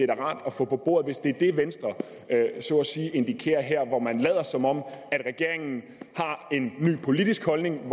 da rart at få på bordet hvis det er det venstre så at sige indikerer her hvor man lader som om regeringen har en ny politisk holdning